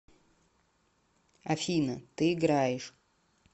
афина ты играешь